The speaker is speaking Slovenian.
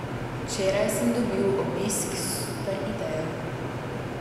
Včeraj sem dobil obisk s super idejo.